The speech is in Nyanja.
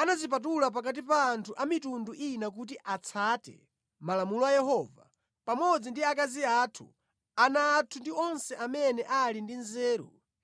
anadzipatula pakati pa anthu a mitundu ina kuti atsate malamulo a Yehova, pamodzi ndi akazi athu, ana athu ndi onse amene ali ndi nzeru,